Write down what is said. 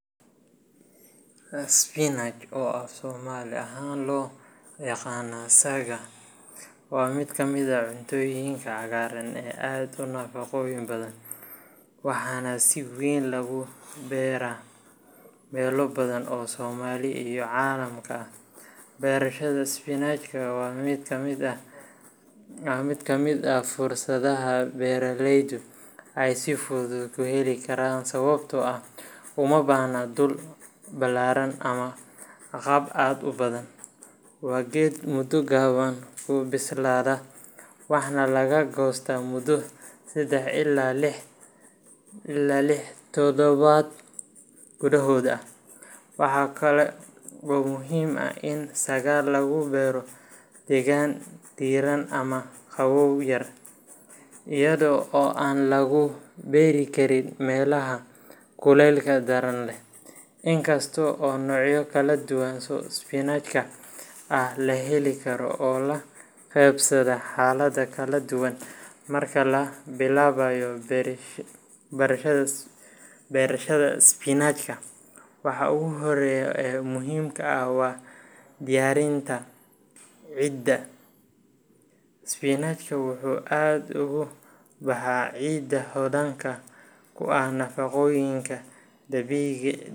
Spinach, oo af Soomaali ahaan loo yaqaan “saaga”, waa mid ka mid ah cuntooyinka cagaaran ee aadka u nafaqo badan, waxaana si weyn loogu beeraa meelo badan oo Soomaaliya iyo caalamkaba ah. Beerashada spinachka waa mid ka mid ah fursadaha beeraleydu ay si fudud u heli karaan, sababtoo ah uma baahna dhul ballaaran ama agab aad u badan. Waa geed muddo gaaban ku bislaada, waxna laga goosto muddo saddex ilaa lix toddobaad gudahood ah. Waxaa kaloo muhiim ah in saaga lagu beero deegaan diirran ama qabow yar, iyadoo aan aad loogu beeri karin meelaha kulaylka daran leh, inkasta oo noocyo kala duwan oo spinachka ah la heli karo oo la qabsada xaalado kala duwan. Marka la bilaabayo beerashada spinachka, waxa ugu horreeya ee muhiimka ah waa diyaarinta ciidda. Spinachka wuxuu aad ugu baxaa ciidda hodanka ku ah nafaqooyinka dabiiciga.